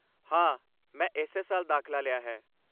ਹਾਂ, ਮੈਂ ਇਸੇ ਸਾਲ ਦਾਖਲਾ ਲਿਆ ਹੈ।